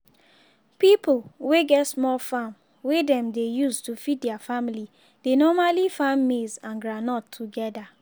pipo wey get small farm wey dem dey use to feed their family dey normally farm maize and groundnut together